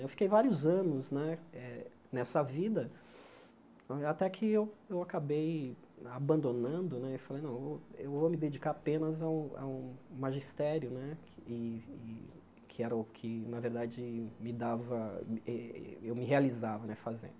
Eu fiquei vários anos né eh nessa vida, até que eu eu acabei abandonando né e falei, não, eu vou eu vou me dedicar apenas ao ao magistério né, que que era o que, na verdade, me dava eh eu me realizava né fazendo.